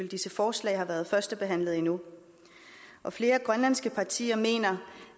disse forslag har været førstebehandlet endnu flere grønlandske partier mener